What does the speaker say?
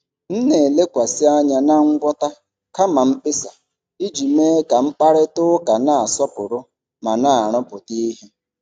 M na-elekwasị anya na ngwọta kama mkpesa iji mee ka mkparịta ụka na-asọpụrụ ma na-arụpụta ihe.